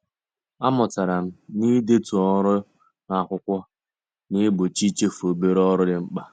A mụtara m na-idetu ọrụ n'akwụkwọ na-egbochi ichefu obere ọrụ dị mkpa